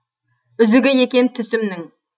үзігі екен түсімнің